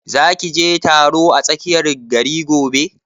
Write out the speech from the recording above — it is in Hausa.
Za ki je taron a tsakiyar gari gobe?